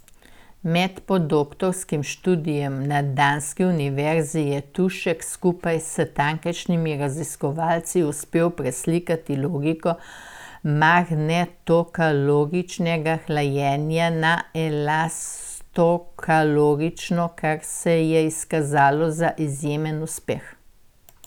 Med podoktorskim študijem na danski univerzi je Tušek skupaj s tamkajšnjimi raziskovalci uspel preslikati logiko magnetokaloričnega hlajenja na elastokalorično, kar se je izkazalo za izjemen uspeh.